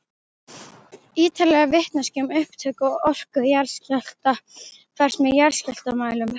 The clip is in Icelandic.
Ýtarleg vitneskja um upptök og orku jarðskjálfta fæst með jarðskjálftamælum.